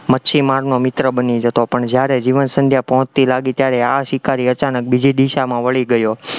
માછીમારનો મિત્ર બની જતો પણ જયારે જીવન સંધ્યા પહોંચતી લાગી ત્યારે આ શિકારી અચાનક બીજી દિશામાં વળી ગયો,